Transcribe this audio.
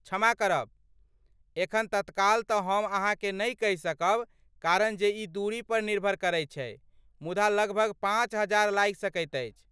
क्षमा करब, एखन तत्काल तँ हम अहाँकेँ नहि कहि सकब कारण जे ई दूरीपर निर्भर करैत छै, मुदा लगभग पाँच हजार लागि सकैत अछि।